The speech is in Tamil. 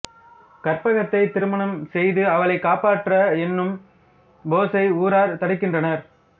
கற்பகத்தைத் திருமணம் செய்து அவளைக் காப்பாற்ற என்னும் போஸை ஊரார் தடுக்கின்றனர்